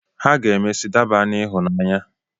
Ha ga-emesị daba n'ịhụnanya.